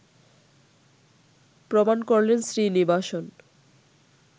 প্রমাণ করলেন শ্রীনিবাসন